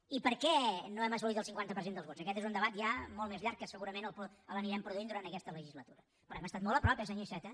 i per què no hem assolit el cinquanta per cent dels vots aquest és un debat ja molt més llarg que segurament l’anirem produint durant aquesta legislatura però hem estat molt a prop eh senyor iceta